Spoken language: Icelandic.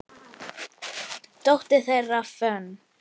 Dóttir þeirra, Fönn